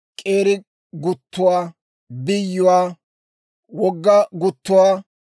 k'eeri guttuwaa, biyyuwaa, wogga guttuwaa,